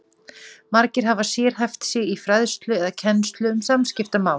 Margir hafa sérhæft sig í fræðslu eða kennslu um samskiptamál.